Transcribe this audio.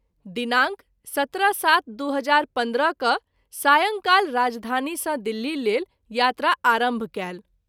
दिनांक 17-07-2015 क’ सायंकाल राजधानी सँ दिल्ली लेल यात्रा आरंभ कएल।